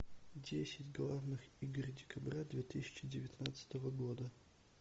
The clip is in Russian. десять главных игр декабря две тысячи девятнадцатого года